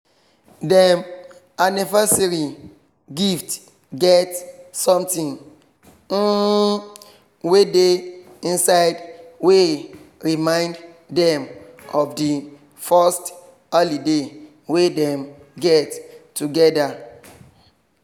dem anniersary gift get something um wey dey inside wey remind dem of di first holiday wey dem get together